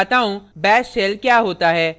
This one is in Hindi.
अब मैं आपको दिखता हूँ bash shell क्या होता है